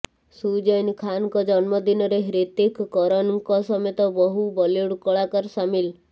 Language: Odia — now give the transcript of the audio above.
ସୁଜୈନ ଖାନଙ୍କ ଜନ୍ମଦିନରେ ହ୍ରିତିକ କରଣଙ୍କ ସମତେ ବହୁ ବଲିଉଡ କଳାକାର ସାମିଲ